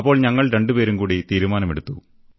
അപ്പോൾ ഞങ്ങൾ രണ്ടുപേരുംകൂടി തീരുമാനമെടുത്തു